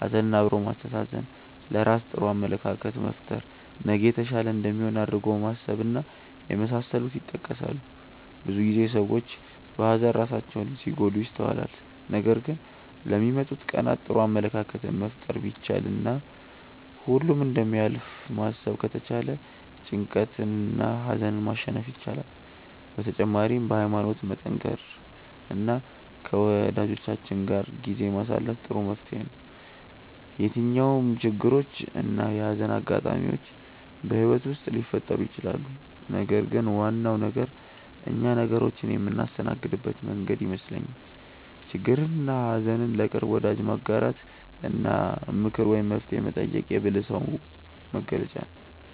ሀዘን አብሮ ማስተዛዘን፣ ለራስ ጥሩ አመለካከት መፍጠር፣ ነገ የተሻለ እንደሚሆን አድርጎ ማሰብ እና የመሳሰሉት ይጠቀሳሉ። ብዙ ጊዜ ሰዎች በሀዘን ራሳቸውን ሲጎዱ ይስተዋላል ነገር ግን ለሚመጡት ቀናት ጥሩ አመለካከትን መፍጠር ቢቻል እና ሁሉም እንደሚያልፍ ማሰብ ከተቻለ ጭንቀትንና ሀዘንን ማሸነፍ ይቻላል። በተጨማሪም በሀይማኖት መጠንከር እና ከወጃጆቻችን ጋር ጊዜ ማሳለፍ ጥሩ መፍትሔ ነው። የትኛውም ችግሮች እና የሀዘን አጋጣሚዎች በህይወት ውስጥ ሊፈጠሩ ይችላሉ ነገር ግን ዋናው ነገር እኛ ነገሮችን የምናስተናግድበት መንገድ ይመስለኛል። ችግርንና ሀዘን ለቅርብ ወዳጅ ማጋራት እና ምክር ወይም መፍትሔ መጠየቅ የብልህ ሰው መገለጫ ነው።